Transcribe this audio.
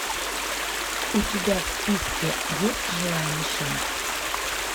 у тебя в списке есть живая мишень